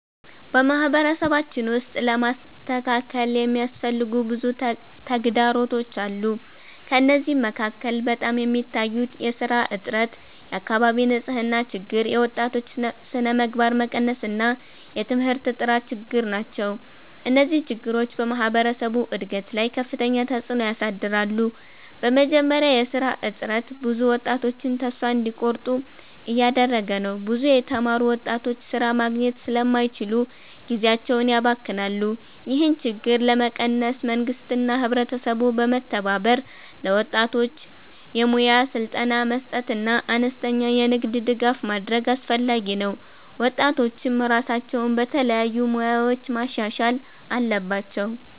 በማህበረሰባችን ውስጥ ለመስተካከል የሚያስፈልጉ ብዙ ተግዳሮቶች አሉ። ከእነዚህ መካከል በጣም የሚታዩት የሥራ እጥረት፣ የአካባቢ ንፅህና ችግር፣ የወጣቶች ስነምግባር መቀነስ እና የትምህርት ጥራት ችግር ናቸው። እነዚህ ችግሮች በማህበረሰቡ እድገት ላይ ከፍተኛ ተፅዕኖ ያሳድራሉ። በመጀመሪያ የሥራ እጥረት ብዙ ወጣቶችን ተስፋ እንዲቆርጡ እያደረገ ነው። ብዙ የተማሩ ወጣቶች ሥራ ማግኘት ስለማይችሉ ጊዜያቸውን ያባክናሉ። ይህን ችግር ለመቀነስ መንግስትና ህብረተሰቡ በመተባበር ለወጣቶች የሙያ ስልጠና መስጠትና አነስተኛ የንግድ ድጋፍ ማድረግ አስፈላጊ ነው። ወጣቶችም ራሳቸውን በተለያዩ ሙያዎች ማሻሻል አለባቸው።